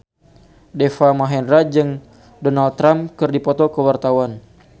Deva Mahendra jeung Donald Trump keur dipoto ku wartawan